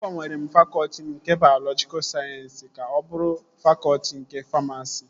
Agbanwere m fakọtị m nke bayọlọjika sayensịs ka ọ bụrụ fakọtị nke famasi